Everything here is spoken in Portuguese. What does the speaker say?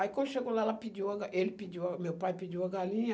Aí quando chegou lá, ela pediu a ga ele pediu a, meu pai pediu a galinha.